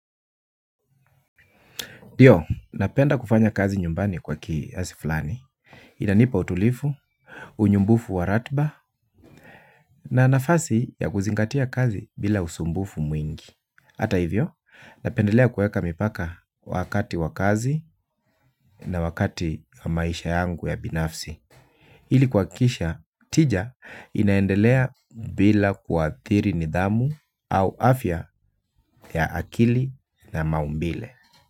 Ndio napenda kufanya kazi nyumbani kwa kiasi fulani. Inanipa utulifu, unyumbufu waratba, na nafasi ya kuzingatia kazi bila usumbufu mwingi. Hata hivyo, napendelea kueka mipaka wakati wa kazi na wakati maisha yangu ya binafsi. Hili kuakikisha, tija inaendelea bila kuathiri nidhamu au afya ya akili na maumbile.